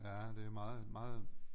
Ja det er meget meget